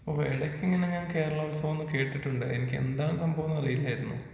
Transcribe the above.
Okay എടക്ക് ഇങ്ങനെ കേരള ഉത്സവം ഞാൻ കേട്ടിട്ടുണ്ട്. എനിക്ക് എന്താണ് സംഭവം എന്നറിയില്ലായിരുന്നു.